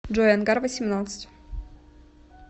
джой ангар восемьнадцать